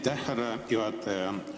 Aitäh, härra juhataja!